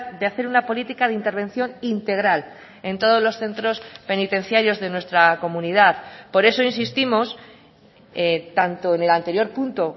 de hacer una política de intervención integral en todos los centros penitenciarios de nuestra comunidad por eso insistimos tanto en el anterior punto